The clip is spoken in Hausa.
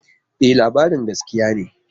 E, labarin gaskiya ne.